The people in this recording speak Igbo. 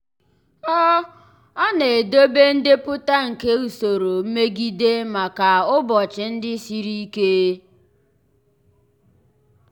ọ ọ na-edobe ndepụta nke usoro mmegide maka ụbọchị ndị siri ike.